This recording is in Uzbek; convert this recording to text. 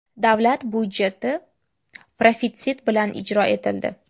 Davlat byudjeti profitsit bilan ijro etildi.